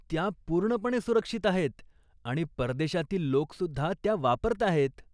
त्या पूर्णपणे सुरक्षित आहेत आणि परदेशातील लोक सुद्धा त्या वापरताहेत.